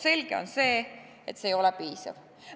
Selge on see, et see ei ole piisav.